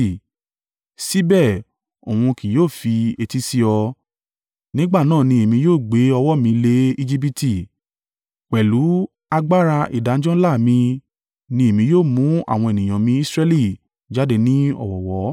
síbẹ̀ òun kì yóò fi etí sí ọ. Nígbà náà ni Èmi yóò gbé ọwọ́ mi lé Ejibiti, pẹ̀lú agbára ìdájọ́ ńlá mi ni èmi yóò mú àwọn ènìyàn mi Israẹli jáde ní ọ̀wọ̀ọ̀wọ́.